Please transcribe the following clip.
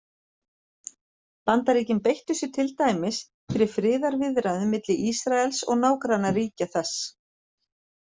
Bandaríkin beittu sér til dæmis fyrir friðarviðræðum milli Ísraels og nágrannaríkja þess.